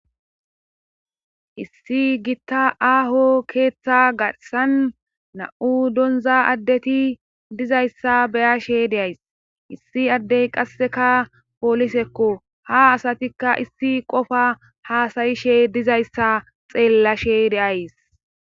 issi gitta aaho keeththa gassan na7u donza addeti dizayssa beyashe de'ays issi addey qasseka poolisekko ha asatikka issi qofa haasayishe dizayssa xeellashe deays